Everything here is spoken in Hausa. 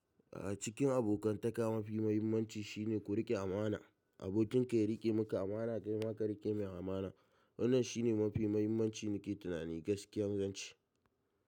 A cikin abokantaka mafi muhimmanci shine ku riƙe amana. Abokin ka ya riƙe muku amana dai ma ka riƙe mai amana. Wannan shine mafi muhimmanci nake tunani ga kiyancin gaskiya.